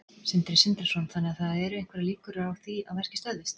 Sindri Sindrason: Þannig að það eru einhverjar líkur á því að verkið stöðvist?